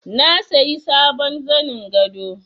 Na sayi sabon zanin gado